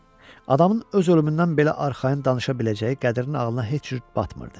Adamın öz ölümündən belə arxayın danışa biləcəyi Qədirin ağlına heç cür batmırdı.